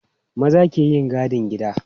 Maza ke yin gadin gida.